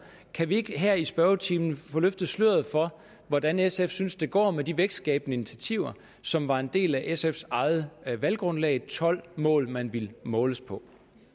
kan vi ikke her i spørgetimen få løftet sløret for hvordan sf synes at det går med de vækstskabende initiativer som var en del af sfs eget valggrundlag de tolv mål man ville måles på